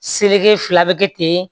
Seleke fila bɛ kɛ ten